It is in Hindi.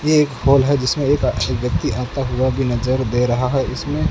ये एक हॉल है जिसमें एक व्यक्ति आता हुआ भी नजर दे रहा है इसमें--